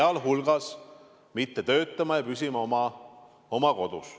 Nad ei tohtinud töötada ja pidid püsima oma kodus.